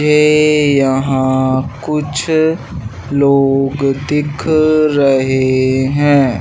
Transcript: ए यहां कुछ लोग दिख रहे हैं।